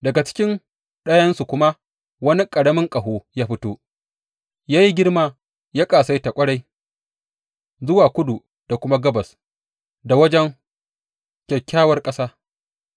Daga cikin ɗayansu kuma wani ƙaramin ƙaho ya fito, ya yi girma ya ƙasaita ƙwarai zuwa kudu da kuma gabas da wajen Kyakkyawar Ƙasa.